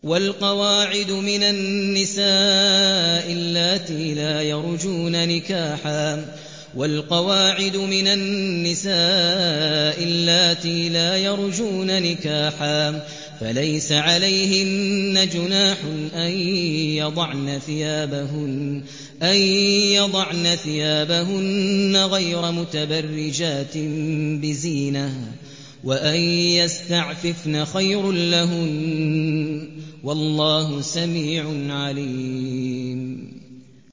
وَالْقَوَاعِدُ مِنَ النِّسَاءِ اللَّاتِي لَا يَرْجُونَ نِكَاحًا فَلَيْسَ عَلَيْهِنَّ جُنَاحٌ أَن يَضَعْنَ ثِيَابَهُنَّ غَيْرَ مُتَبَرِّجَاتٍ بِزِينَةٍ ۖ وَأَن يَسْتَعْفِفْنَ خَيْرٌ لَّهُنَّ ۗ وَاللَّهُ سَمِيعٌ عَلِيمٌ